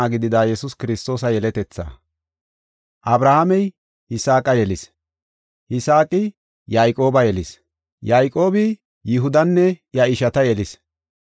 Abrahaamey Yisaaqa yelis; Yisaaqi Yayqooba yelis; Yayqoobi Yihudanne iya ishata yelis;